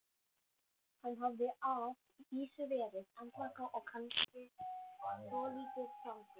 Hann hafði að vísu verið andvaka og kannski svolítið svangur.